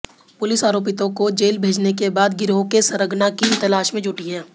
police आरोपितों को jail भेजने के बाद गिरोह के सरगना की तलाश में जुटी है